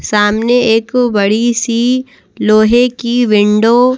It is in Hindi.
सामने एक बड़ी सी लोहे की विंडो --